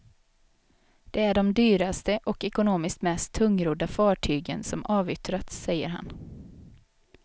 Det är de dyraste och ekonomiskt mest tungrodda fartygen som avyttras, säger han.